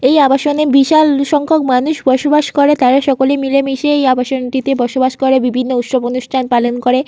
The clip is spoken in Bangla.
এই আবাসনে বিশাল সংখ্যক মানুষ বসবাস করে। তারা সকলে মিলেমিশে এই আবাসনটিতে বসবাস করে বিভিন্ন উৎসব অনুষ্ঠান পালন করে।